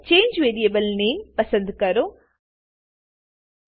change variable નામે change variable name પસંદ કરો